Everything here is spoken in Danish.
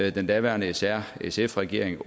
i den daværende srsf regering